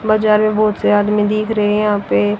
बाजार में बहोत से आदमी दिख रहे हैं यहां पे--